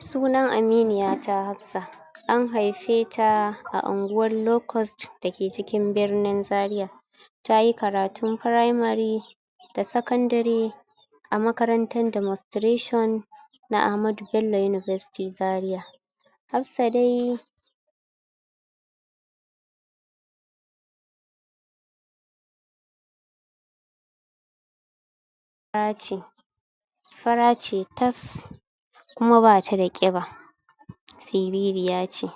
Sunan aminiyata Hafsa an haifeta a unguwan locust dake cikin birnin Zariya tayi karatun firamari da sakandari a makarantan Demonstration na Ahmadu Bello University Zariya. Hafsa dai... fara ce fara ce tas, kuma bata da ƙiba, sirirya ce,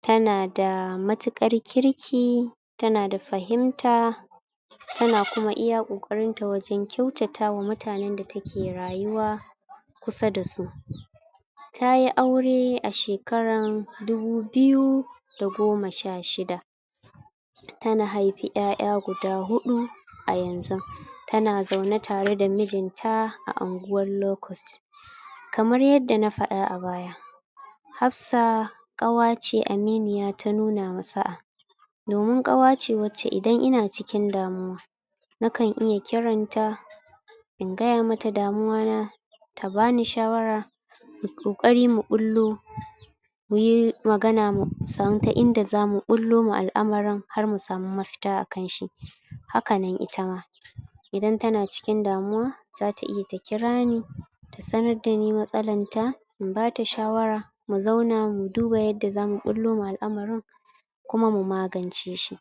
tanada matuƙar kirki tanada fahimta, tana kuma iya ƙoƙarinta wajen kyautatawa mutanen da take rayuwa kusa dasu. Tayi aure a shekaran dubu biyu da goma sha shida tana haifi ƴaƴa guda huɗu a yanzun tana zaune tareda mijinta a anguwan locust. Kamar yadda na faɗa a baya, Hafsa ƙawa ce aminiya ta nuna wa sa'a, domin ƙawace wacce idan ina cikin damuwa nakan iya kiranta in gaya mata damuwa na ta bani shawara mu ƙoƙari mu ɓullo muyi magana musan ta inda zamu ɓullo ma al'amarin har mu samu mafita akan shi, hakanan itama idan tana cikin damuwa zata iya ta kirani ta sanar dani matsalar ta in bata shawara mu zauna mu duba yadda zamu ɓullo ma al'amarin ta sanar dani matsalar ta in bata shawara mu zauna mu duba yadda zamu ɓullo ma al'amarin kuma mu magance shi,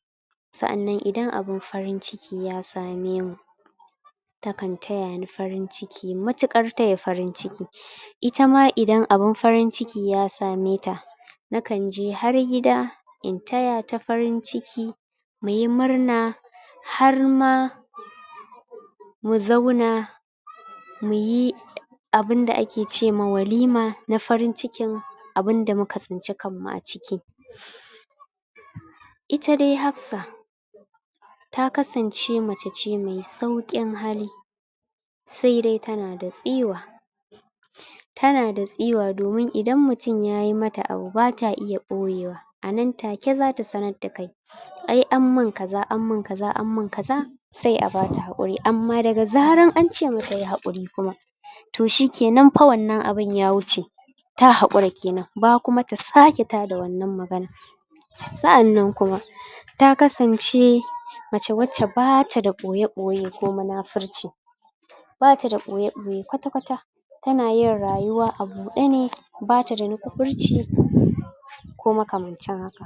sa'annan idan abun farin ciki ya same mu takan tayani farin ciki matuƙar taya farin ciki itama idan abun farin ciki ya same ta nakanje har gida in tayata farin ciki muyi murna, harma mu zauna muyi um abunda ake cema walima na farin cikin abunda muka tsinci kanmu a ciki. Ita dai Hafsa ta kasance mace ce mai sauƙin hali saidai tanada tsiwa, tanada tsiwa domin idan mutum yayi mata abu bata iya ɓoyewa a nan take zata sanar dakai, "ai anmin kaza an min kaza an min kaza" sai a bata haƙuri, amma daga zarar ance mata yi haƙuri kuma to shikenan fa wannan abun ya wuce, ta hakura kenan ba kuma ta sake tada wannan maganan sa'annan kuma ta kasance mace wacce bata da ɓoye-ɓoye ko munafurci, bata da ɓoye-ɓoye kwata kwata, tanayin rayuwa a buɗe ne, bata da nukufurci ko makamancin haka.